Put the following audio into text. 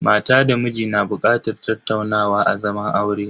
Mata da miji na bukatar tattaunawa a zaman aure.